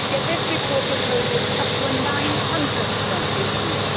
Yet this report proposes up to a 900 increase.